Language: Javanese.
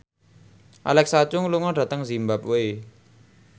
Alexa Chung lunga dhateng zimbabwe